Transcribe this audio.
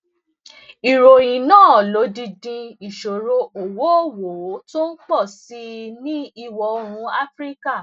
ìròyìn náà lódindi ìṣòro owóowó tó ń pò sí i ní ìwò oòrùn áfíríkà